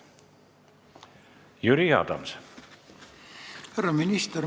Härra minister!